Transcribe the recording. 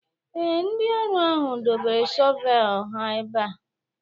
Ee, ndị ọrụ ahụ dobere shọvel ha ebe a.